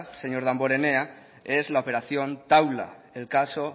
señor damborenea es la operación taula el caso